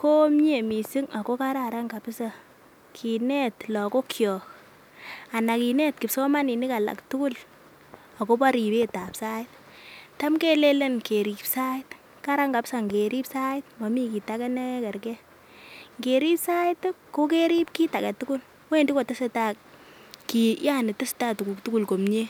ko mie missing ako kararan kabisa kinet lokok kyik anan kinet kipsomaninik alak tukuk akobo ribetab sait. Tam kelelen kerib sait Karan kabisa ngerib. Sait momii kit age nekergee l, ngerib sait tii ko kerib kit agetukul wendii kotesetai kit yaani tesetai tukuk tukul komie.